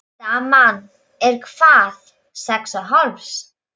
Daman er hvað. sex og hálfs?